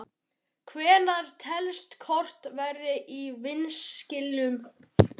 Hvenær telst kort vera í vanskilum?